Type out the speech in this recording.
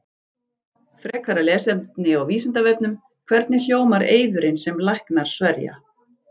Frekara lesefni á Vísindavefnum: Hvernig hljómar eiðurinn sem læknar sverja?